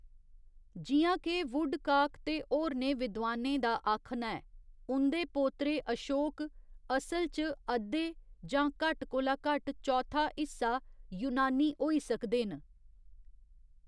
जि'यां के वुडकाक ते होरनें विद्वानें दा आखना ऐ, उं'दे पोतरे अशोक, 'असल च अद्धे जां घट्ट कोला घट्ट चौथा हिस्सा यूनानी होई सकदे न।